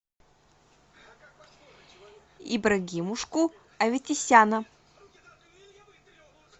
ибрагимушку аветисяна